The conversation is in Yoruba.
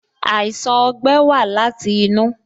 Àìsàn ogbẹ́ wa láti inú